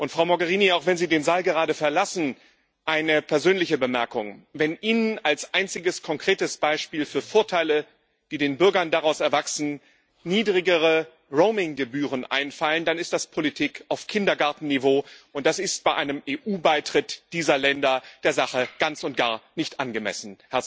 Frau Mogherini, auch wenn Sie den Saal gerade verlassen, eine persönliche Bemerkung Wenn Ihnen als einziges konkretes Beispiel für Vorteile, die den Bürgern daraus erwachsen, niedrigere Roaming Gebühren einfallen, dann ist das Politik auf Kindergartenniveau, und das ist bei einem EU Beitritt dieser Länder der Sache ganz und gar nicht angemessen.